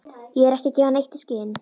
Ég er ekki að gefa neitt í skyn.